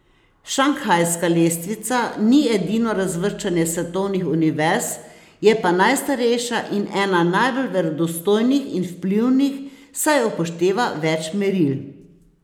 Šanghajska lestvica ni edino razvrščanje svetovnih univerz, je pa najstarejša in ena najbolj verodostojnih in vplivnih, saj upošteva več meril.